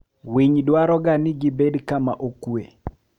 Winy dwaroga ni gibed kama okuwe.